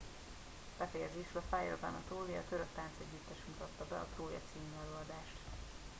befejezésül a fire of anatolia török táncegyüttes mutatta be a trója című előadást